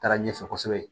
Taara ɲɛfɛ kosɛbɛ